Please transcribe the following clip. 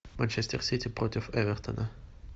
манчестер сити против эвертона